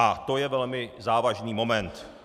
A to je velmi závažný moment.